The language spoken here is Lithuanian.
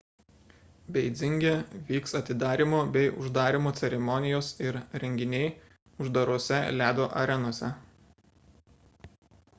beidzinge vyks atidarymo bei uždarymo ceremonijos ir renginiai uždarose ledo arenose